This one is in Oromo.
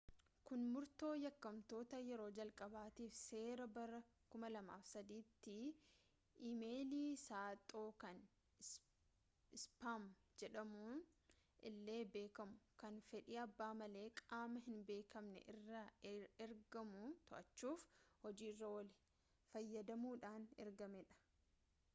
kuni murtoo yakkamtummaa yeroo jalqabaatiif seera bara 2003tti ii-meeyilii saaxoo kan ispaam jedhamuun illee beekamu kan fedhii abbaa malee qaama hinbeekamne irraa ergamu to'achuuf hojiirra oole fayyadamuudhaan argamedha